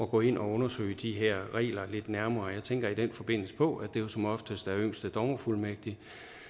gå ind og undersøge de her regler lidt nærmere og jeg tænker i den forbindelse på at det jo som oftest er yngste dommerfuldmægtig